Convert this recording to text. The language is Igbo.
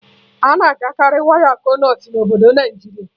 Ana agakarị waya Konduit na obodo Naịjiria